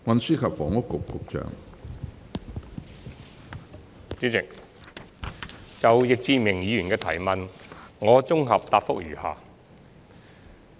主席，就易志明議員的提問，我現綜合答覆如下。